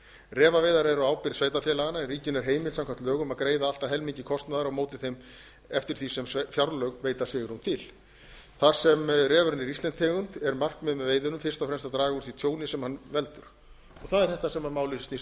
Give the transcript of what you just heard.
refaveiðar eru á ábyrgð sveitarfélaganna en ríkinu er heimilt samkvæmt lögum að greiða allt að helmingi kostnaðar eftir því sem fjárlög veita svigrúm til þar sem refurinn er íslensk tegund er markmiðið með veiðunum fyrst og fremst að draga úr því tjóni sem hann veldur og það er þetta sem málið snýst